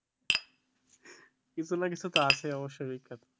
কিছু না কিছু তো আছে অবশ্যই বিখ্যাত